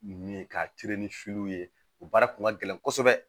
Nin ye ka ni ye o baara kun ka gɛlɛn kosɛbɛ